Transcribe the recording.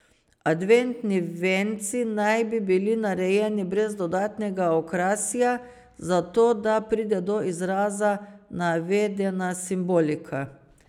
Adventni venci naj bi bili narejeni brez dodatnega okrasja, zato da pride do izraza navedena simbolika.